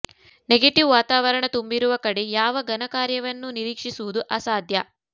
negative ವಾತಾವರಣ ತುಂಬಿರುವ ಕಡೆ ಯಾವ ಘನ ಕಾರ್ಯವನ್ನೂ ನಿರೀಕ್ಷಿಸುವುದು ಅಸಾಧ್ಯ